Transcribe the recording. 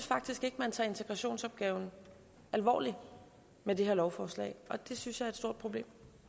faktisk ikke man tager integrationsopgaven alvorligt med det her lovforslag og det synes jeg er et stort problem